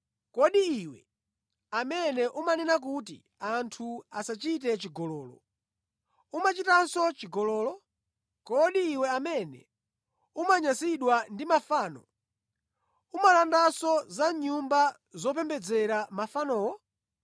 Kodi iwe amene umanena kuti anthu asachite chigololo, umachitanso chigololo? Kodi iwe amene umanyasidwa ndi mafano, umalandanso za mʼnyumba zopembedzera mafanowo?